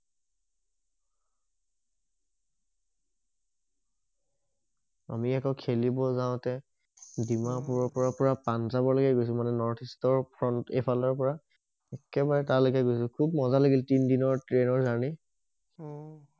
আমি আকৌ খেলিব যাওঁতে ডিমাপুৰৰ পৰা পুৰা পাঞ্জাৱ লেকে গৈছো মানে নৰ্থ ইষ্টৰ এইফালে পুৰা একেবাৰে তালেকে গৈছো খুব মজা লাগিল তিনি দিনৰ ট্ৰেনৰ জাৰ্নি অহ